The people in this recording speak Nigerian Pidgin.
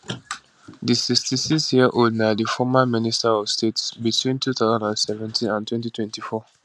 di 66 yearold na di former minister of state between 2017 and 2024